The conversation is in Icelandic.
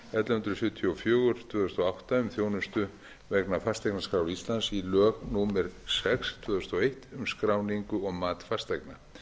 hundruð sjötíu og fjögur tvö þúsund og átta um þjónustu vegna fasteignaskrár íslands í lög númer sex tvö þúsund og eitt um skráningu og mat fasteigna